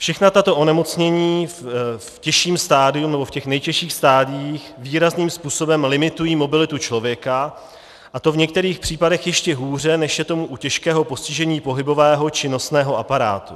Všechna tato onemocnění v těžším stadiu nebo v těch nejtěžších stadiích výrazným způsobem limitují mobilitu člověka, a to v některých případech ještě hůře, než je tomu u těžkého postižení pohybového či nosného aparátu.